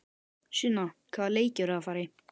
Sunna: Hvaða leiki eruð þið að fara í?